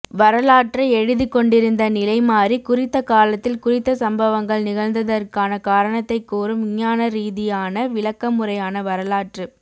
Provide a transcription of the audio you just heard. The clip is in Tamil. வரலாற்றை எழுதிக் கொண்டிருந்த நிலை மாறி குறித்த காலத்தில் குறித்த சம்பவங்கள் நிகழ்ந்ததற்கான காரணத்தைக்கூறும் விஞ்ஞானரீதியான விளக்கமுறையான வரலாற்றுப்